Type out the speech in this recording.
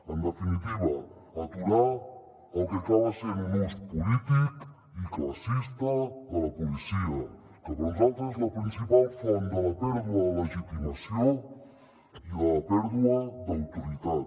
en definitiva aturar el que acaba sent un ús polític i classista de la policia que per nosaltres és la principal font de la pèrdua de legitimació i de la pèrdua d’autoritat